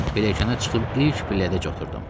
Pilləkənə çıxıb ilk pillədəcə oturdum.